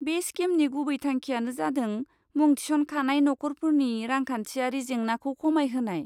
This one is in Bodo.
बे स्किमनि गुबै थांखियानो जादों मुं थिसनखानाय नखरफोरनि रांखान्थियारि जेंनाखौ खमायहोनाय।